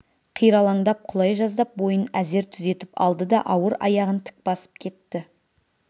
қиралаңдап құлай жаздап бойын әзер түзетіп алды да ауыр аяғын тік басып кетті